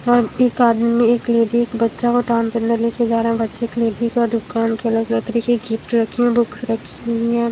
एक आदमी एक लेडी एक बच्चा को टान के अंदर लेकर जा रहा है बच्चे के लेडी का दुकान की अलग-अलग तरीके गिफ्ट रखी बुक्स रखी हुई है।